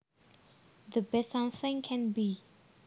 The best something can be